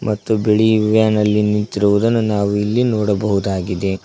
ಮತ್ತು ಬಿಳಿ ವ್ಯಾನ್ ಅಲ್ಲಿ ನಿಂತಿರುವುದನ್ನು ನಾವು ಇಲ್ಲಿ ನೋಡಬಹುದಾಗಿದೆ.